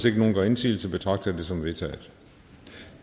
ikke nogen gør indsigelse betragter jeg det som vedtaget